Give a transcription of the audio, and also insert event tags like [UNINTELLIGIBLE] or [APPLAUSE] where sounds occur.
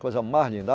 Coisa mais linda. [UNINTELLIGIBLE]